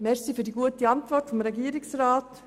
Danke für die gute Antwort des Regierungsrats.